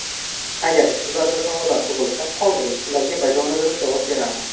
Agar sizlarda savollar tug‘ilsa, qoldiring, ularga bajonidil javob beraman.